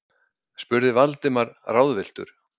spurði Valdimar ráðvilltur.